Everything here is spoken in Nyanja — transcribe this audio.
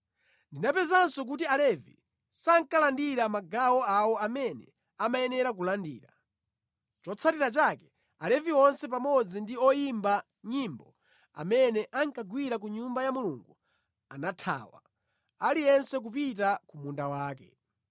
Ndinapezanso kuti Alevi sankalandira magawo awo amene amayera kulandira. Chotsatira chake Alevi onse pamodzi ndi oyimba nyimbo amene ankagwira ku Nyumba ya Mulungu anathawa, aliyense kupita ku munda wake.